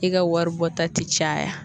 I ka waribɔta ti caya